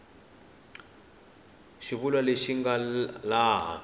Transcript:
xivulwa lexi xi nga laha